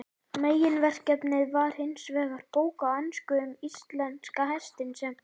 Meginverkefnið var hinsvegar bók á ensku um íslenska hestinn, sem